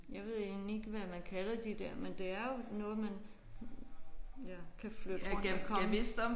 Jeg ved egentlig ikke hvad man kalder de der men det er jo noget man ja kan flytte rundt og komme